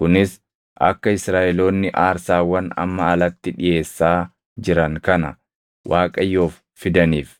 Kunis akka Israaʼeloonni aarsaawwan amma alatti dhiʼeessaa jiran kana Waaqayyoof fidaniif.